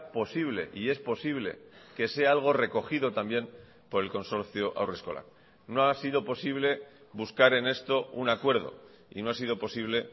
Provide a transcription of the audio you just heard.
posible y es posible que sea algo recogido también por el consorcio haurreskolak no ha sido posible buscar en esto un acuerdo y no ha sido posible